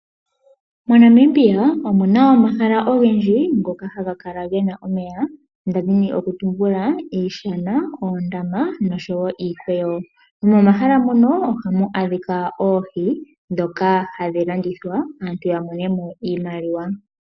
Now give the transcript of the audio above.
MoNamibia omuna omahala ogendji ngoka haga kala gena omeya. Ndadhi nokutumbula iishana, oondama, noshowo iikweyo. Momahala muno ohamu adhika oohi, ndhoka hadhi landithwa, opo aantu yamonemo iimaliwa.